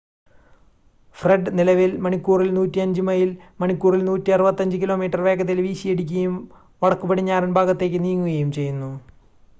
Fred നിലവിൽ മണിക്കൂറിൽ 105 mile മണിക്കൂറിൽ 165 കിലോമീറ്റർ വേഗതയിൽ വീശിയടിക്കുകയും വടക്കുപടിഞ്ഞാറൻ ഭാഗത്തേക്ക് നീങ്ങുകയും ചെയ്യുന്നു